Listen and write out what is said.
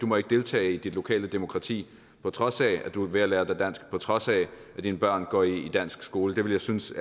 må deltage i dit lokale demokrati på trods af at du er ved at lære dig dansk på trods af at dine børn går i dansk skole ville jeg synes